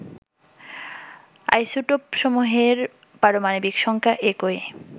আইসোটপসমূহের পারমাণবিক সংখ্যা একই